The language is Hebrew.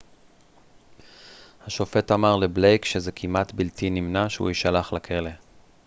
השופט אמר לבלייק שזה כמעט בלתי נמנע שהוא יישלח לכלא